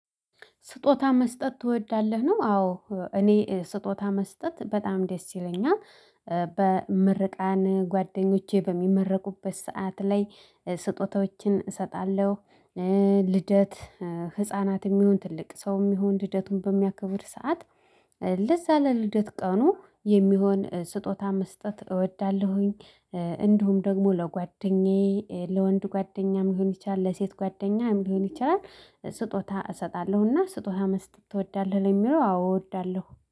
ስጦታ መስጠት ትወዳለህ? ነው አዎ እኔ ስጦታ መስጠት በጣም ደስ ይለኛል። በምርቃን ጓደኞቼ በሚመረቁበት ሰዓት ላይ ስጦታዎችን እሰጣለሁ። ልደት ህፃናትም ይሁን ትልቅ ሰውም ይሁን ልደቱን በሚያከብር ሰዓት። ለዚያ ለልደት ቀኑ የሚሆን ስጦታ መስጠት እወዳለሁ። እንዲሁም ደግሞ ለጓደኛዬ ለወንድ ጓደኛም ሊሆን ይችላል ለሴት ጓደኛም ሊሆን ይችላል። ስጦታ እሰጣለሁና ስጦታ መስጠት ትወዳለህ? ለሚለው አዎ እወዳለሁ